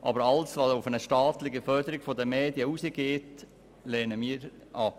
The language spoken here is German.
Aber alles, was auf eine staatliche Förderung der Medien hinausläuft, lehnen wir ab.